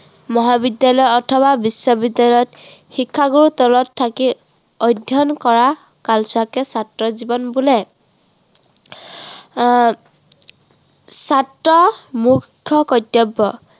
মহাবিদ্য়ালয় অথবা বিশ্ববিদ্য়ালয়ত শিক্ষাগুৰুৰ তলত থাকি অধ্য়য়ন কৰা কালছোৱাকে ছাত্ৰ জীৱন বোলে। আহ ছাত্ৰৰ মুখ্য় কৰ্তব্য়